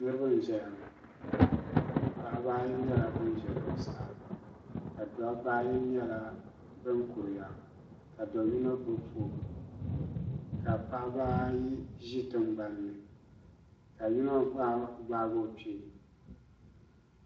Niraba n ʒɛya ŋo paɣaba ayi nyɛla ban ʒɛ zuɣusaa ka dabba ayi nyɛ bin kuriya ka do yino gbubi foon ka paɣaba ayi ʒi tingbanni ka yino gbaagi o kpee